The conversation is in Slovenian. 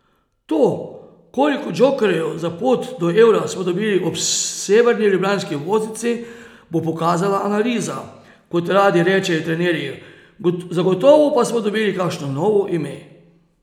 To, koliko džokerjev za pot do eura smo dobili ob severni ljubljanski obvoznici, bo pokazala analiza, kot radi rečejo trenerji, zagotovo pa smo dobili kakšno novo ime.